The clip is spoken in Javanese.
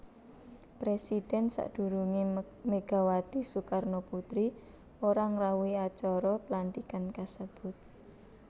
Presidhèn sadurungé Megawati Soekarnoputri ora ngrawuhi acara pelantikan kasebut